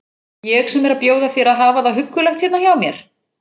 Ég sem er að bjóða þér að hafa það huggulegt hérna hjá mér!